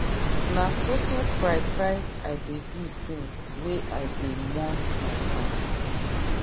na so so cry cry i dey do since wey i dey mourn my paddy.